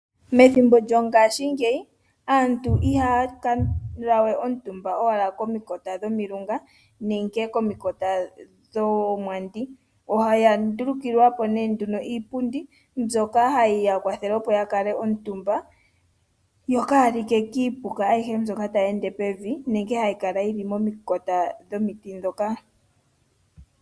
Methimbo lyongaashingeyi aantu ihaya kuutumba we komakota gomilunga nenge komakota goomwandi. Oya ndulukilwa po nduno iipundi mbyoka hayi ya kwathele opo ya kale omutumba yo kaaya like kiipuka mbyoka hayi ende pevi nenge hayi kala momakota gomiti ngoka.